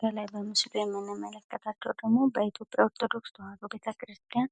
በላይ በምስሉ ላይ የምንመለከታቸው ደሞ በኢትዮጵያ ኦርቶዶክስ ተዋህዶ ቤተክርስቲያን